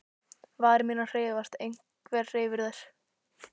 Varir mínar hreyfast, einhver hreyfir þær.